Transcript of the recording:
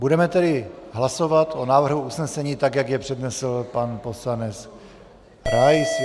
Budeme tedy hlasovat o návrhu usnesení, tak jak jej přednesl pan poslanec Rais.